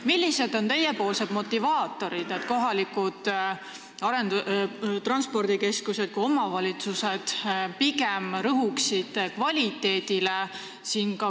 Millised on teie pakutavad motivaatorid, et kohalikud transpordikeskused ja omavalitsused rõhuksid pigem kvaliteedile?